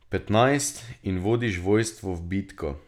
Petnajst, in vodiš vojstvo v bitko.